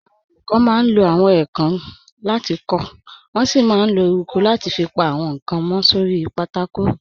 Àwọn olùkọ́ máa ń lo àwọn èèkàn láti kọ, wọ́n sì máa ń lo eruku láti fi pa àwọn nǹkan mọ́ sórí pátákó.